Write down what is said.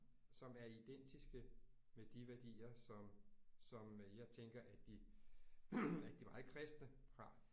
Som er identiske med de værdier som som øh jeg tænker at de at de meget kristne har